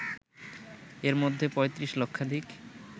এর মধ্যে ৩৫ লক্ষাধিক